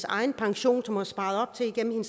egen pension som hun har sparet op til igennem